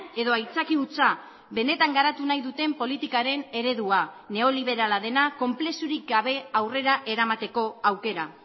edo aitzaki hutsa benetan garatu nahi duten politikaren eredua neoliberala dena konplexurik gabe aurrera eramateko aukera